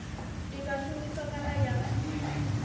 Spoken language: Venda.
i nga shumiswa kana ya